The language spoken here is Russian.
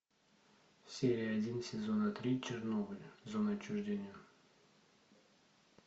серия один сезона три чернобыль зона отчуждения